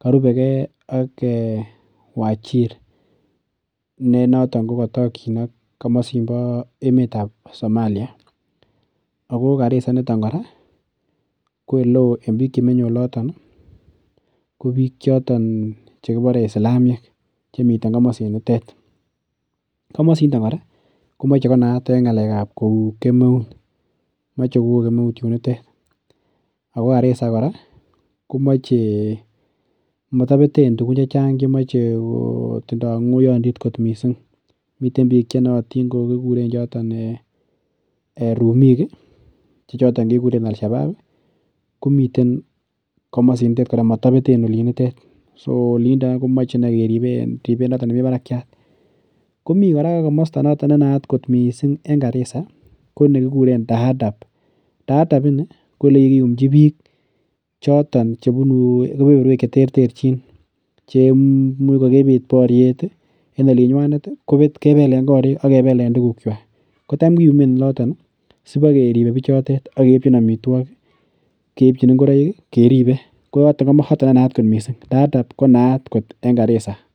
karubeke ak Wajir. Ne notok ko kotorchin ak emetab Somalia. Ago Garissa initok kora ko oleo en biik chemiten yotok chekibore Isilamiek chemi komosinitet. Komosindon kora komoche kinaat en ngakekab kou kemeut, moche koo kemeut yunitet ago Garissa kora, komatobeten tugun chechang che moche kotindo ngoiyondit kot mising. Miten biik che nootin ko kiguren choton rumik che choton keguren alsiaban, komiten komosinindet kora motobeten olinindet. So koolin indet komoche innei keribe en ribet noton nemi barakiat. Komi kora komosta ne naat en Garissa ko nekikuren Ndaadab. Ndaadab ini ko olekikiyumchi biik choton chebunu keberberwek cheterterchin chemuch ko kipit boriet en olinywanet kobet kobelen korik ak kebelen tugukywak. Kotam kuyumen oloton sibakeribe bichotet ak keipchin amitwogik, keipchin ungoroik keribe koyotok komoe konayat mising. Ndaadab konaat kot en Garissa.